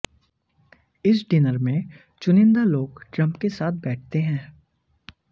इस डिनर में चुनिंदा लोग ट्रंप के साथ बैठते हैं